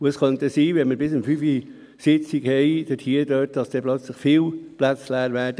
Wenn wir bis um 17 Uhr Sitzung haben, könnte es sein, dass plötzlich viele Plätze leer würden.